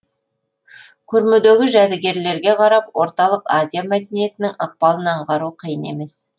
көрмедегі жәдігерлерге қарап орталық азия мәдениетінің ықпалын аңғару қиын емес